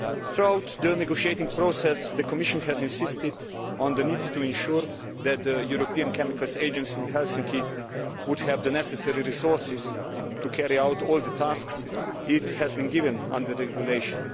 Throughout the negotiating process the Commission has insisted on the need to ensure that the European Chemicals Agency in Helsinki would have the necessary resources to carry out all the tasks it has been given under the regulation.